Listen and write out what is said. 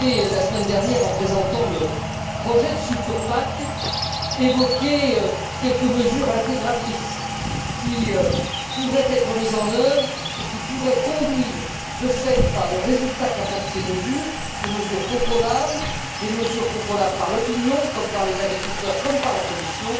La semaine dernière, en présentant le projet de future PAC, vous avez évoqué quelques mesures intégratrices qui pourraient être mises en œuvre et qui pourraient conduire de fait, par le résultat qu'apportent ces mesures, à des mesures contrôlables par l'opinion, par les agriculteurs comme par la Commission,